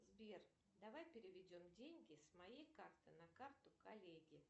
сбер давай переведем деньги с моей карты на карту коллеги